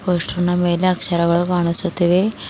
Poster ನ ಮೇಲೆ ಅಕ್ಷರಗಳು ಕಾಣಿಸುತ್ತಿವೆ.